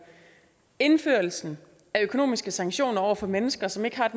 indførelsen af økonomiske sanktioner over for mennesker som ikke har